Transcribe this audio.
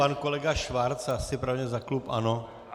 Pan kolega Schwarz asi pravděpodobně za klub ANO.